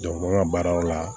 an ka baaraw la